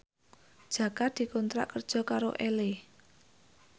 Jaka dikontrak kerja karo Elle